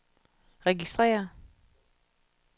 registrér